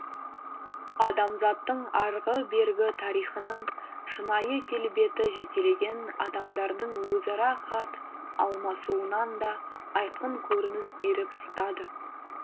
адамзаттың арғы бергі тарихының шынайы келбеті жекелеген адамдардың өзара хат алмасуынан да айқын көрініс беріп жатады